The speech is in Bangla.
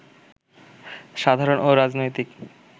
সাধারণ ও রাজনৈতিক